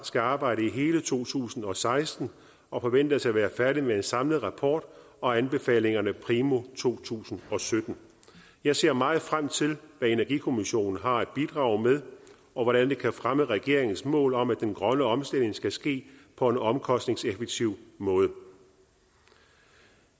skal arbejde i hele to tusind og seksten og forventes at være færdig med en samlet rapport og anbefalingerne primo to tusind og sytten jeg ser meget frem til hvad energikommissionen har at bidrage med og hvordan det kan fremme regeringens mål om at den grønne omstilling skal ske på en omkostningseffektiv måde